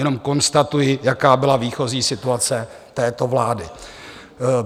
Jenom konstatuji, jaká byla výchozí situace této vlády.